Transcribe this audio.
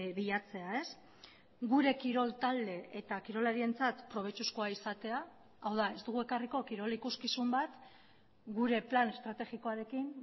bilatzea gure kirol talde eta kirolarientzat probetxuzkoa izatea hau da ez dugu ekarriko kirol ikuskizun bat gure plan estrategikoarekin